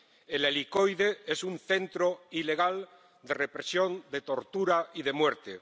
El Helicoide es un centro ilegal de represión, de tortura y de muerte.